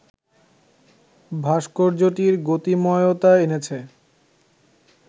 ভাস্কর্যটির গতিময়তা এনেছে